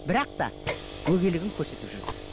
бірақ та өгейлігін көрсетіп жүрді